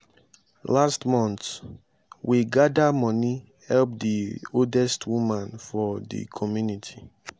last month we gada moni help di oldest woman for di community.